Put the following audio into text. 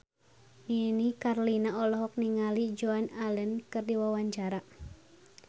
Nini Carlina olohok ningali Joan Allen keur diwawancara